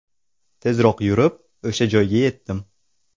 Tezroq yurib, o‘sha joyga yetdim.